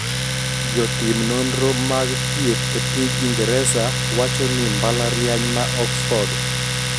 Jotim nonro mag thieth e piny Ingresa wacho ni mbalariany ma Oxford